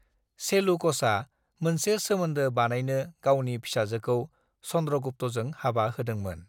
सेलूक'सआ मोनसे सोमोन्दो बानायनो गावनि फिसाजोखौ चंद्रगुप्तजों हाबा होदोंमोन।